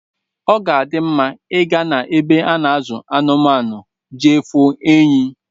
Oga adim mma iga na ebe ana azu anụmaụ jee fụ enyi